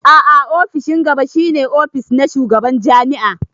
A'a ofishin gaba shi ne ofis na shugaban jami'a.